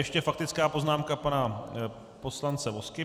Ještě faktická poznámka pana poslance Vozky.